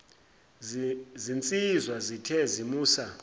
zinsizwa zithe zimusa